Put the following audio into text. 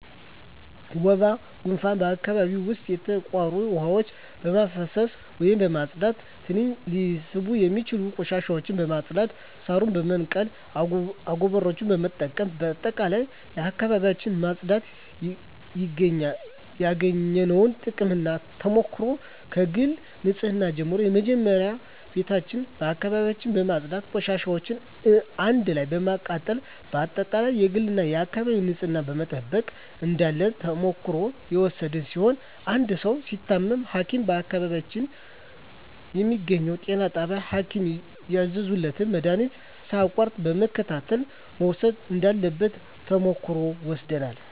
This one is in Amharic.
ወባ ጉንፋን በአካባቢው ዉስጥ የተቋሩ ዉሀዎችን በማፋሰስ ወይም በማፅዳት ትንኝ ሊስቡ የሚችሉ ቆሻሻዎችን በማፅዳት ሳሮችን በመንቀል አጎበሮችን በመጠቀም በጠቅላላ አካባቢዎችን ማፅዳት ያገኘነዉ ጥቅምና ተሞክሮ ከግል ንፅህና ጀምሮ መጀመሪያ ቤታችን አካባቢያችን በማፅዳት ቆሻሻዎችን አንድ ላይ በማቃጠል በአጠቃላይ የግልና የአካባቢ ንፅህናን መጠበቅ እንዳለብን ተሞክሮ የወሰድን ሲሆን አንድ ሰዉ ሲታመም ሀኪም በአካባቢው በሚገኘዉ ጤና ጣቢያ ሀኪም ያዘዘለትን መድሀኒት ሳያቋርጥ በመከታተል መዉሰድ እንዳለበት ተሞክሮ ወስደናል